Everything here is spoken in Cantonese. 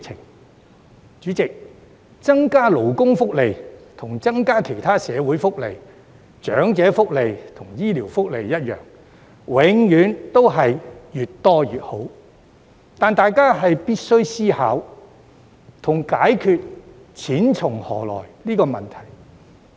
代理主席，增加勞工福利，與增加其他社會福利、長者福利和醫療福利一樣，總是越多越好，但大家必須思考錢從何來的問題。